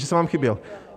Že jsem vám chyběl?